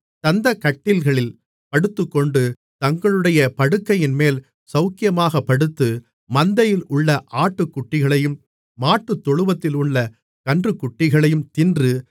தந்தக் கட்டில்களில் படுத்துக்கொண்டு தங்களுடைய படுக்கைகளின்மேல் சவுக்கியமாகப் படுத்து மந்தையிலுள்ள ஆட்டுக்குட்டிகளையும் மாட்டுத்தொழுவத்திலுள்ள கன்றுக்குட்டிகளையும் தின்று